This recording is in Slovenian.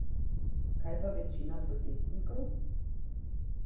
Kaj pa večina protestnikov?